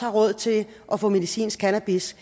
råd til at få medicinsk cannabis